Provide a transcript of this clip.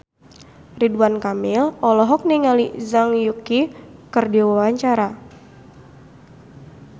Ridwan Kamil olohok ningali Zhang Yuqi keur diwawancara